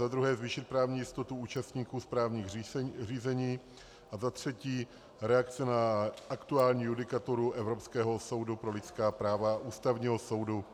Za druhé zvýšit právní jistotu účastníků správních řízení a za třetí reakce na aktuální judikaturu Evropského soudu pro lidská práva a Ústavního soudu